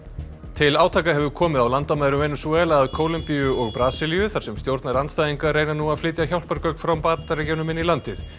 til átaka hefur komið á landamærum Venesúela að Kólumbíu og Brasilíu þar sem stjórnarandstæðingar reyna nú að flytja hjálpargögn frá Bandaríkjunum inn í landið